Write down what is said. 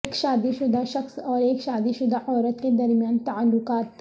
ایک شادی شدہ شخص اور ایک شادی شدہ عورت کے درمیان تعلقات